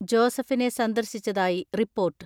ജോസഫിനെ സന്ദർശിച്ചതായി റിപ്പോർട്ട്.